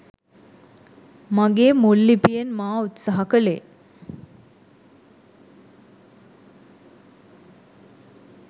මගේ මුල් ලිපියෙන් මා උත්සාහ කළේ